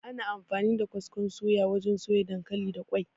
Ana amfani da kaskon suya wajen soya dankali da ƙwai.